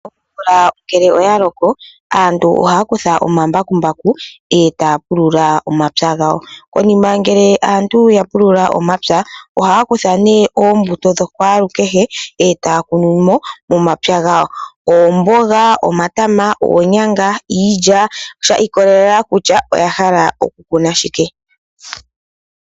Omvula ngele oya loko, aantu ohaya kutha omambakumbaku e taya pulula omapya gawo. Konima ngele aantu ya pulula omapya, ohaya kutha nee oombuto dho kwalukehe e taya kunumo momapya gawo oomboga, omatama, oonyanga, iilya. Sha ikolelela kutya oya hala okukuna shike.